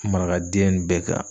Marakaden bɛɛ kan.